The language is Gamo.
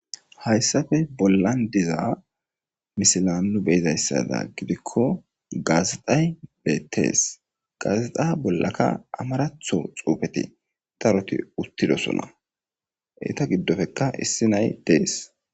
Hayisafe bollan diza misilan nu beyizayssada gidikko gaazexay beettees gaazexa bollaka amaratho xuufeti daroti uttidosona eeta giddofekka issi nay dees